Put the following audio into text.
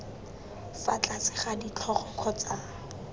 fa tlase ga ditlhogo kgotsa